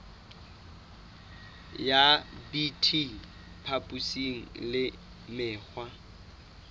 ya bt papisong le mekgwa